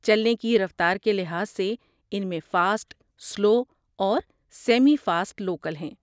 چلنے کی رفتار کے لحاظ سے ان میں فاسٹ، سلو، اور سیمی فاسٹ لوکل ہیں۔